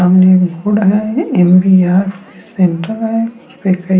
सामने एक है एम.बी.आर. फिश सेण्टर है उसपे कई --